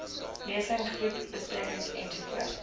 lesings groepbesprekings ens